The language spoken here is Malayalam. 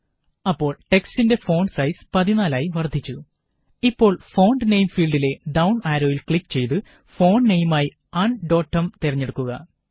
അപ്പോള് ടെക്സ്റ്റിന്റെ ഫോണ്ട് സൈസ് 14 ആയി വര്ദ്ധിച്ചു ഇപ്പോള് ഫോണ്ട് നെയിം ഫീല്ഡിലെ ഡൌണ് ആരോയില് ക്ലിക് ചെയ്ത് ഫോണ്ട് നെയിമായി ഉണ്ടോടും തിരഞ്ഞെടുക്കുക